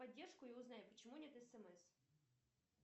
поддержку и узнай почему нет смс